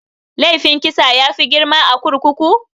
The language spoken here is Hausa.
Laifin kisa yafi girma a kurkuku?